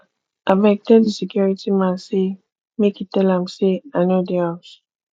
abeg tell di security man sey make e tell am sey i no dey house